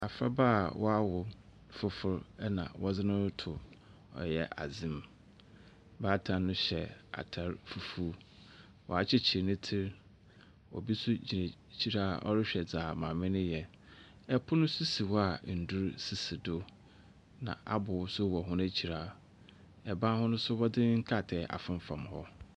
Abofraba a wɔawo no foforo na wɔdze no roto ɛyɛ adze mu. Baatan no hyɛ atr fufuw. Ɔakyekyer ne tsi. Obi nso gyina ekyir a ɔrehwɛ dza maame no reyɛ. Pon nso si hɔ a ndur sisi do, na abow nso wɔ hɔ ekyir a ban hono nso wɔdze nkrataa afemfam hɔ.